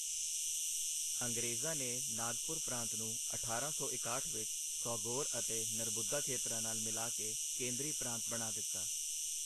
ਅੰਗਰੇਜ਼ਾਂ ਨੇ ਨਾਗਪੁਰ ਪ੍ਰਾਂਤ ਨੂੰ ਅਠਾਰਾਂ ਸੌ ਇਕਾਹਠ ਵਿੱਚ, ਸੌਗੋਰ ਅਤੇ ਨਰਬੁੱਦਾ ਖੇਤਰਾਂ ਨਾਲ ਮਿਲਾ ਕੇ ਕੇਂਦਰੀ ਪ੍ਰਾਂਤ ਬਣਾ ਦਿੱਤਾ।